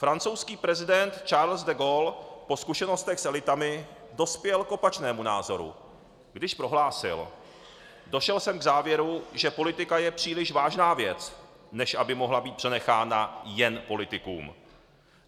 Francouzský prezident Charles de Gaulle po zkušenostech s elitami dospěl k opačnému názoru, když prohlásil: "Došel jsem k závěru, že politika je příliš vážná věc, než aby mohla být přenechána jen politikům."